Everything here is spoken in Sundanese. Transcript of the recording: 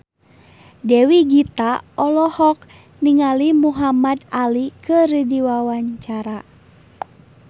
Dewi Gita olohok ningali Muhamad Ali keur diwawancara